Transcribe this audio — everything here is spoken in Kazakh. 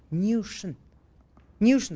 не үшін не үшін